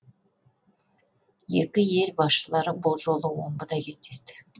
екі ел басшылары бұл жолы омбыда кездесті